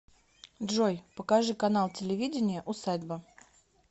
джой покажи канал телевидения усадьба